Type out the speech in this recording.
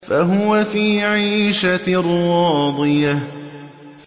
فَهُوَ فِي عِيشَةٍ رَّاضِيَةٍ